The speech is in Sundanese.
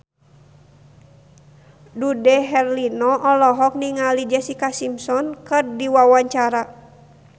Dude Herlino olohok ningali Jessica Simpson keur diwawancara